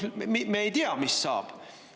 Me ei tea, mis saab.